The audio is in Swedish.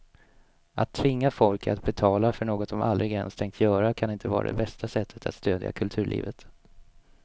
Att tvinga folk att betala för något de aldrig ens tänkt göra kan inte vara det bästa sättet att stödja kulturlivet.